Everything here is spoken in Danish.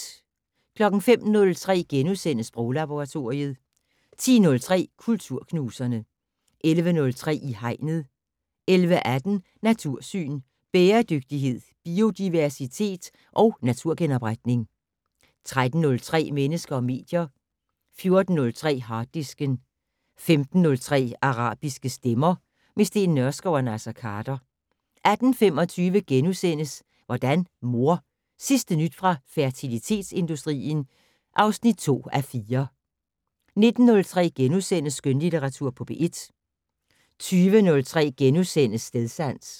05:03: Sproglaboratoriet * 10:03: Kulturknuserne 11:03: I Hegnet 11:18: Natursyn: Bæredygtighed, biodiversitet og naturgenopretning 13:03: Mennesker og medier 14:03: Harddisken 15:03: Arabiske stemmer - med Steen Nørskov og Naser Khader 18:25: Hvordan mor? Sidste nyt fra fertilitetsindustrien (2:4)* 19:03: Skønlitteratur på P1 * 20:03: Stedsans *